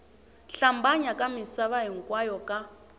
hlambanya ka misava hinkwayo ka